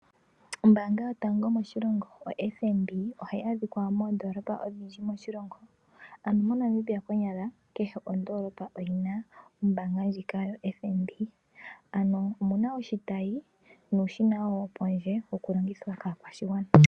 Ombaanga yotango moshilongo oFNB ohayi adhika moondolopa odhindji moshilongo, ano moNamibia konyala kehe ondolopa oyina ombaanga ndjika yoFNB, ano oyina oshitayi nuushina wopondje wokulongithwa kaakwashigwana.